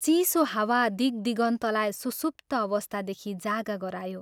चिसो हावा दिग्दिगन्तलाई सुसुप्त अवस्थादेखि जागा गरायो।